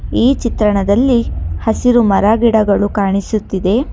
ಈ ಚಿತ್ರಣದಲ್ಲಿ ಹಸಿರು ಮರಗಿಡಗಳು ಕಾಣಿಸುತ್ತಿದೆ.